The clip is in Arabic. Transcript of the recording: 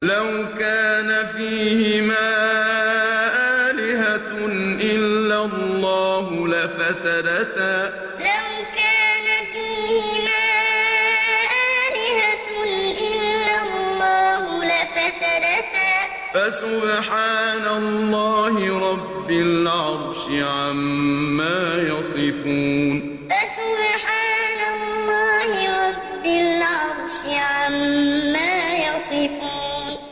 لَوْ كَانَ فِيهِمَا آلِهَةٌ إِلَّا اللَّهُ لَفَسَدَتَا ۚ فَسُبْحَانَ اللَّهِ رَبِّ الْعَرْشِ عَمَّا يَصِفُونَ لَوْ كَانَ فِيهِمَا آلِهَةٌ إِلَّا اللَّهُ لَفَسَدَتَا ۚ فَسُبْحَانَ اللَّهِ رَبِّ الْعَرْشِ عَمَّا يَصِفُونَ